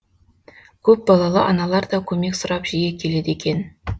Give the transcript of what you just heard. көпбалалы аналар да көмек сұрап жиі келеді екен